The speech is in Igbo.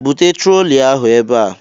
"Bụtee trolị ahụ ebe a"